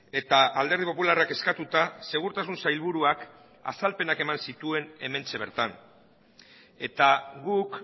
eta alderdi popularrak eskatuta segurtasun sailburuak azalpenak eman zituen hementxe bertan eta guk